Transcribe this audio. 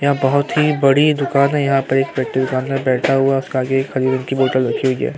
यहाँ बहोत ही बड़ी दुकान है। यहाँ पे एक व्यक्ति दुकान में बैठा हुवा है। काजू खजूर की बोतल रखी हुवी है।